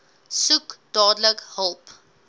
soek dadelik hulp